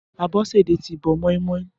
Abosede ti bọ̀ mọimọi